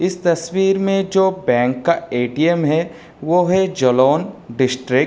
इस तस्वीर म जो बैंक का एटीएम है वो है जोलोन डिस्टिक्ट --